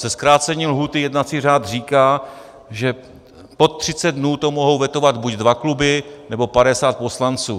Se zkrácením lhůty jednací řád říká, že pod 30 dnů to mohou vetovat buď dva kluby, nebo 50 poslanců.